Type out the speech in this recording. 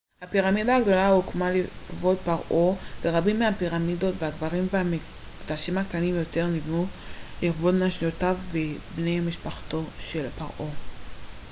הפירמידה הגדולה הוקמה לכבוד פרעה ח'ופו ורבים מהפירמידות הקברים והמקדשים הקטנים יותר נבנו לכבוד נשותיו ובני משפחתו של ח'ופו